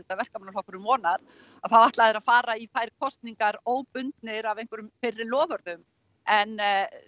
Verkamannaflokkurinn vonar þá ætla þeir að fara í þær kosningar óbundnir af einhverjum fyrri loforðum en